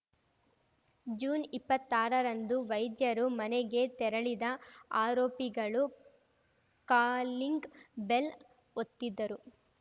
ಜೂನ್ಇಪ್ಪತ್ತಾರರಂದು ವೈದ್ಯರು ಮನೆಗೆ ತೆರಳಿದ ಆರೋಪಿಗಳು ಕಾಲಿಂಗ್‌ ಬೆಲ್‌ ಒತ್ತಿದ್ದರು